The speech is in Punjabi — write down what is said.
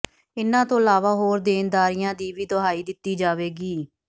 ਇਨ੍ਹਾਂ ਤੋਂ ਇਲਾਵਾ ਹੋਰ ਦੇਣਦਾਰੀਆਂ ਦੀ ਵੀ ਦੁਹਾਈ ਦਿੱਤੀ ਜਾਵੇਗੀ